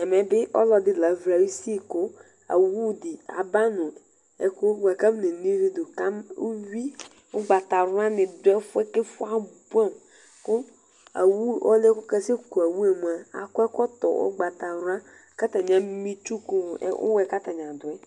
Ɛmɛbi ɔlʋɛdi lavli ayusi kʋ awʋdi aba nʋ ɛkʋ buaku akɔ ne'o ivi duka uwi ʋgbatawla ni dʋ ɛfʋɛ kʋ abʋɛamʋ kʋ alʋ yɛ kasɛ kʋ awʋe mʋa akɔ ɛkɔtɔ ʋgbatawla kʋ atani ama itsu kʋ ʊwʋ yɛ kʋ atani adʋ yɛ